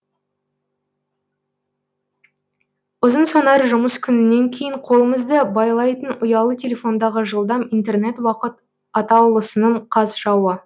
ұзынсонар жұмыс күнінен кейін қолымызды байлайтын ұялы телефондағы жылдам интернет уақыт атаулысының қас жауы